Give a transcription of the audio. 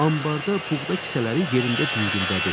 Ambarda buğda kisələri yerində dingildədi.